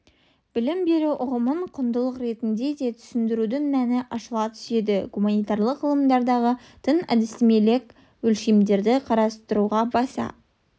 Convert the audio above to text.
білім беру ұғымын құндылық ретінде де түсіндірудің мәні ашыла түседі гуманитарлық ғылымдардағы тың әдістемелік өлшемдерді қарастыруға баса